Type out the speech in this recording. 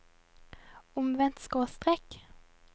omvendt skråstrek